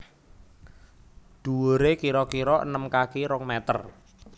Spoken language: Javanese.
Dhuwure kira kira enem kaki rong meter